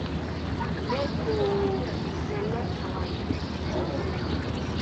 make um we select our evening entertainment.